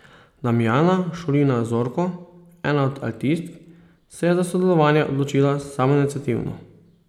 Damjana Šulina Zorko, ena od altistk, se je za sodelovanje odločila samoiniciativno.